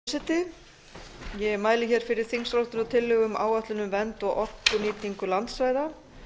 virðulegi forseti ég mæli fyrir þingsályktunartillögu um áætlun um vernd og orkunýtingu landsvæða